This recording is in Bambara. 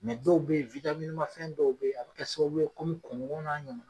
Mɛ dɔw be ye witamini man fɛn dɔw be ye a bi kɛ sababu ye komi kɔngɔn n'a ɲɔgɔnaw